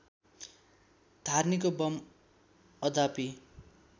धार्नीको bomb अद्यापि